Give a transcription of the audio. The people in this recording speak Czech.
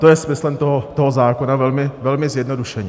To je smyslem toho zákona, velmi zjednodušeně.